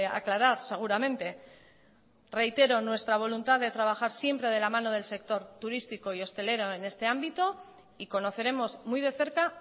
aclarar seguramente reitero nuestra voluntad de trabajar siempre de la mano del sector turístico y hostelero en este ámbito y conoceremos muy de cerca